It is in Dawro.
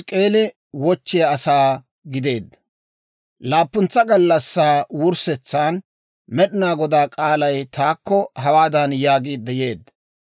Laappuntsa gallassaa wurssetsan Med'inaa Godaa k'aalay taakko hawaadan yaagiidde yeedda;